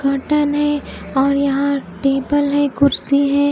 और यहा टेबल है कुड्सी है।